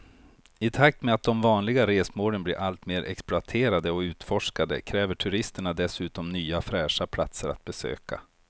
I takt med att de vanliga resmålen blir allt mer exploaterade och utforskade kräver turisterna dessutom nya fräscha platser att besöka.